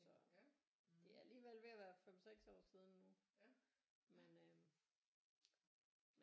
Så det er alligevel ved at være 5 6 år siden nu men øh